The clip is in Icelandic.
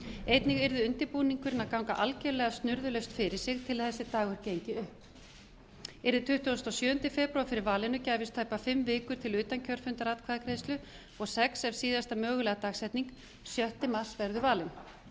einnig yrði undirbúningurinn að ganga algerlega snurðulaust fyrir sig til að þessi dagur gengi upp yrði tuttugasta og sjöunda febrúar fyrir valinu gæfist tæpar fimm vikur til utankjörfundaratkvæðagreiðslu og sex ef síðasta mögulega dagsetning sjötta mars verður valin